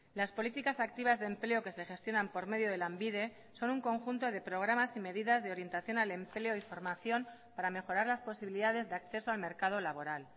las políticas activas de empleo que se gestionan por medio de lanbide son un conjunto de programas y medidas de orientación al empleo y formación para mejorar las posibilidades de acceso al mercado laboral